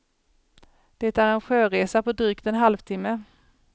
Det är en sjöresa på drygt en halvtimme.